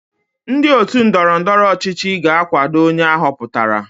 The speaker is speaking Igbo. Ndị otu ndọrọ ndọrọ ọchịchị ga-akwado onye a họpụtara.